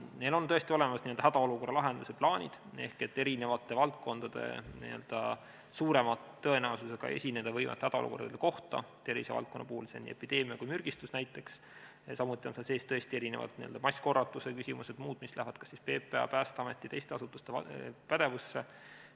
Meil on tõesti olemas hädaolukorra lahenduse plaanid eri valdkondades suurema tõenäosusega esineda võivate hädaolukordade kohta, tervisevaldkonna puhul on see nii epideemia kui ka mürgistus näiteks, samuti on seal sees erinevad massikorratuse küsimused ja muud, mis lähevad kas PPA, Päästeameti või teiste asutuste pädevusse.